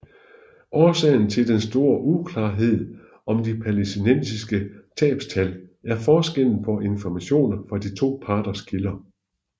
Årsagen til den store uklarhed om de palæstinensiske tabstal er forskellen på informationer fra de to parters kilder